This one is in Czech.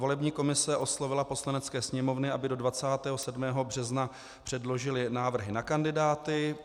Volební komise oslovila Poslaneckou sněmovnu, aby do 27. března předložila návrhy na kandidáty.